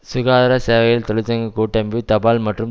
சுகாதார சேவைகள் தொழிற்சங்க கூட்டமைப்பு தபால் மற்றும்